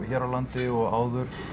hér á landi og áður